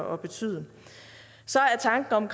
at betyde så er tanken om